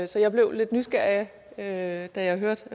så jeg blev lidt nysgerrig da jeg hørte